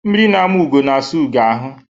Mmiri na-ama ugo na-asa ugo ahụ.